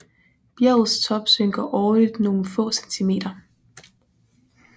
Bjergets top synker årligt nogle få centimeter